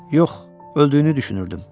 Yox, öldüyünü düşünürdüm.